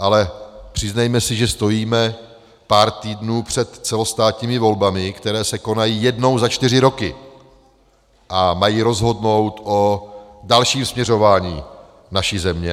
Ale přiznejme si, že stojíme pár týdnů před celostátními volbami, které se konají jednou za čtyři roky a mají rozhodnout o dalším směřování naší země.